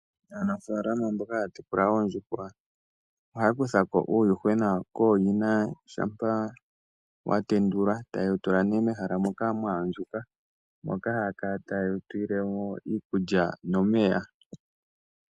Aanafaalama mboka haya tekula oondjuhwa ohaya kutha ko uuyuhwena kooyina shampa wa tendulwa noku wu tula mehala lya andjuka moka haya kala taye wu pele mo iikulya nomeya.